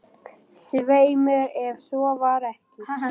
Svei mér, ef svo var ekki.